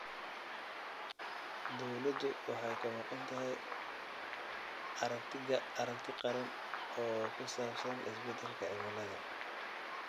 Dawladdu waxay ka maqan tahay aragti qaran oo ku saabsan isbeddelka cimilada.